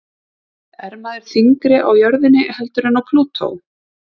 er maður þyngri á jörðinni heldur en á plútó